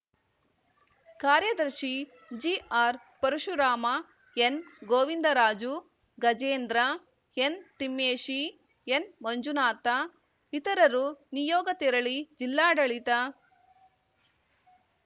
ಕಾರ್ಯದರ್ಶಿ ಜಿಆರ್‌ಪರಶುರಾಮ ಎನ್‌ಗೋವಿಂದರಾಜು ಗಜೇಂದ್ರ ಎನ್‌ತಿಮ್ಮೇಶಿ ಎನ್‌ಮಂಜುನಾಥ ಇತರರು ನಿಯೋಗ ತೆರಳಿ ಜಿಲ್ಲಾಡಳಿತ